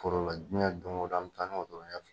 Forola jɛn don go don an bi taa ni wotoro ɲɛ fila